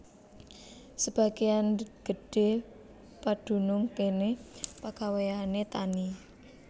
Sebagéyan gedhé padunung kéné pagawéyané tani